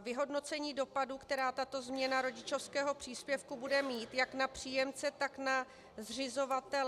vyhodnocení dopadů, které tato změna rodičovského příspěvku bude mít jak na příjemce, tak na zřizovatele.